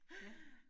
Ja